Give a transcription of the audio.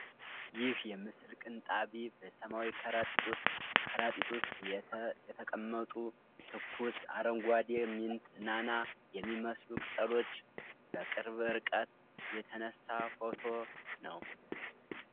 ይህ የምስል ቅንጣቢ በሰማያዊ ከረጢት ውስጥ ከረጢት ውስጥ የተ የተቀመጡ ትኩስ አረንጓዴ ሚንት (ናና) የሚመስሉ ቅጠሎች በቅርብ ርቀት የተነሳ ፎቶ ነው?